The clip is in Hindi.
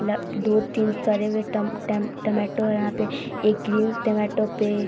ल दो तीन सड़े हुए टम टम टोमैटो है यहाँ पे एक ग्रीन टोमैटो पे --